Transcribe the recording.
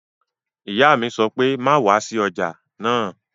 Ìyá mi sọ pé "má wá sí ọjà náà!"